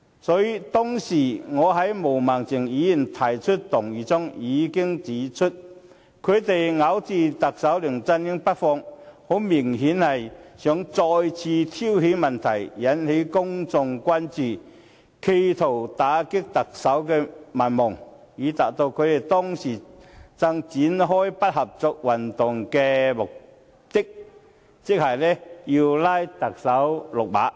所以，當時我就毛孟靜議員提出的議案發言時已經指出，泛民咬着特首梁振英不放，很明顯是希望再次挑起問題，引起公眾關注，試圖打擊特首民望，以達致他們當時正展開的不合作運動的目的，即把特首拉下馬。